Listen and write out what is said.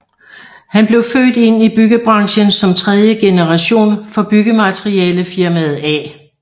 Han blev født ind i byggebranchen som tredje generation for byggematerialefirmaet A